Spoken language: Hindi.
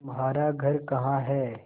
तुम्हारा घर कहाँ है